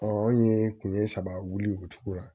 an ye kun ye saba wuli o cogo la